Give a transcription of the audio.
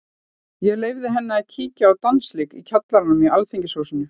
Ég leyfði henni að kíkja á dansleik í kjallaranum í Alþýðuhúsinu.